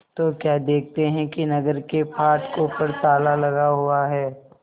तो क्या देखते हैं कि नगर के फाटकों पर ताला लगा हुआ है